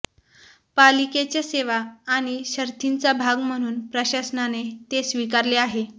पालिकेच्या सेवा आणि शर्थींचा भाग म्हणून प्रशासनाने ते स्वीकारले आहे